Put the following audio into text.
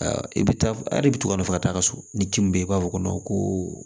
I bɛ taa a de bɛ to ka nɔfɛ ka taa ka so ni ci min bɛ yen i b'a fɔ ko ko